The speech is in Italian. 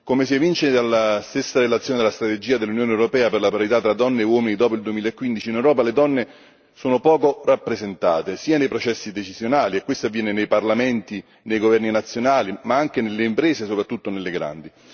Come si evince dalla stessa relazione della strategia dell'Unione europea per la parità tra donne e uomini dopo il 2015 in Europa, le donne sono poco rappresentate nei processi decisionali, e questo avviene nei parlamenti, nei governi nazionali, ma anche nelle imprese, soprattutto nelle grandi.